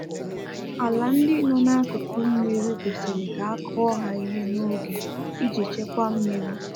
Ala ndị nọ na akụkụ mmiri kwesịrị ka akụọ ha ihe na oge iji chekwa mmiri